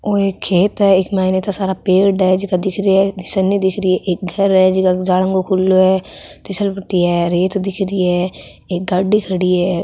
ओ एक खेत है एक मायने ईता सारा पेड़ है जिका दिख रिया है निसैनी दिख री है एक घर है जका के जालंगो खुलो है तिसल पट्टी है रेत दिख री है एक गाड़ी खड़ी है।